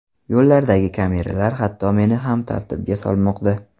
Yo‘llardagi kameralar hatto meni ham tartibga solmoqda.